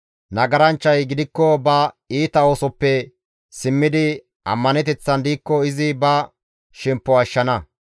Nagaranchchay gidikko ba iita oosoppe simmidi ammaneteththan diikko izi ba shemppo ashshana.